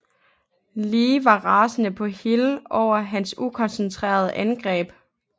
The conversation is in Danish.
Lee var rasende på Hill over hans ukoncentrerede angreb